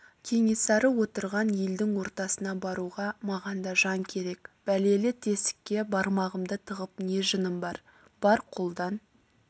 кенесары отырған елдің ортасына баруға маған да жан керек бәлелі тесікке бармағымды тығып не жыным бар бар қолдан